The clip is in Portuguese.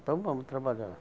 Então vamos trabalhar.